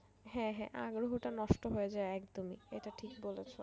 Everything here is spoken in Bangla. হ্যাঁ হ্যাঁ আগ্রহটা নষ্ট হয়ে যাই একদম এটা ঠিক বলেছো।